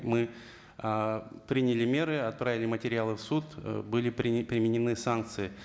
мы ыыы приняли меры отправили материалы в суд были применены санкции